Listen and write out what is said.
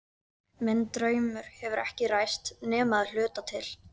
Minn draumur hefur ekki ræst nema að hluta til.